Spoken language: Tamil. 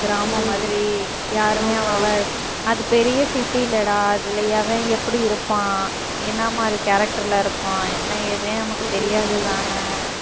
கிராமம் மாதிரி யாருமே அவ்வளவா அது பெரிய city இல்லடா அதுல எவன் எப்படி இருப்பான் என்ன மாதிரி character ல இருப்பான் என்ன ஏதுனே நமக்கு தெரியாது தானே